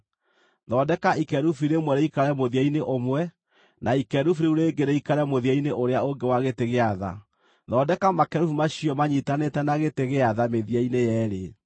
Thondeka ikerubi rĩmwe rĩikare mũthia-inĩ ũmwe, na ikerubi rĩu rĩngĩ rĩikare mũthia-inĩ ũrĩa ũngĩ wa gĩtĩ gĩa tha; thondeka makerubi macio maanyiitanĩte na gĩtĩ gĩa tha mĩthia-inĩ yeerĩ.